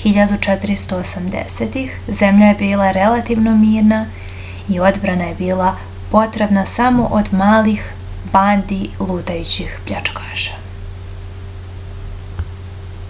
1480-ih zemlja je bila relativno mirna i odbrana je bila potrebna samo od malih bandi lutajućih pljačkaša